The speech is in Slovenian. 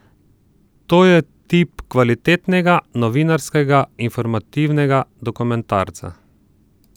To je tip kvalitetnega novinarskega, informativnega dokumentarca.